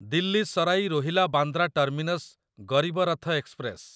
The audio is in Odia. Delhi Sarai Rohilla Bandra terminus Garib Rath express